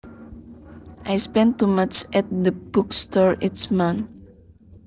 I spend too much at the book store each month